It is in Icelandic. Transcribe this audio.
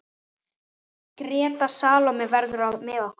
Greta Salóme verður með okkur.